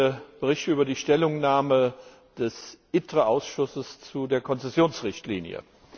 Ich berichte über die Stellungnahme des ITRE Ausschusses zu der Konzessionsrichtlinie.